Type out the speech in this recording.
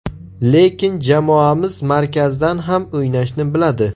Lekin jamoamiz markazdan ham o‘ynashni biladi.